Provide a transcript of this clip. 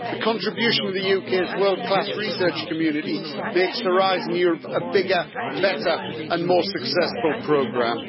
The contribution of the UK's world class research community makes Horizon Europe a bigger, better and more successful programme.